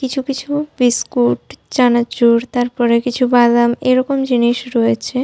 কিছু কিছু বিস্কুট চানাচুর তারপরে কিছু বাদাম এরকম জিনিস রয়েছে।